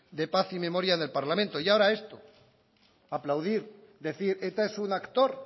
de paz y memoria del parlamento y ahora esto aplaudir decir eta es un actor